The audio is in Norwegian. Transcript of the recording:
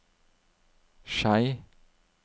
Skei